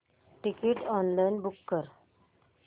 ticket online book कर